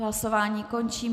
Hlasování končím.